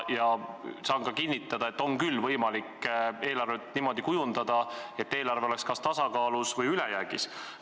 Ma saan ka kinnitada, et on küll võimalik eelarvet niimoodi kujundada, et see oleks kas tasakaalus või ülejäägis.